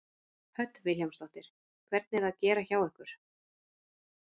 Hödd Vilhjálmsdóttir: Hvernig er að gera hjá ykkur?